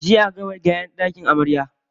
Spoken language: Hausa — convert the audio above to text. Jiya aka gama gyaran ɗakin amarya.